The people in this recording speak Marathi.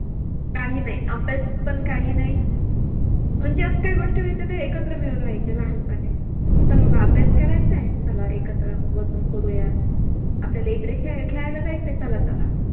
काही नाही, अभ्यास पण काही नाही, म्हणजे अस काही गोष्टी व्हायच्या त्या एकत्र मिळुन व्हायच्या लहानपणी, चल बाबा अभ्यास करायचंय, चला एकत्र बसुन करुयात, आपल्याला इकडे खेळ खेळायला जायच आहे चला चला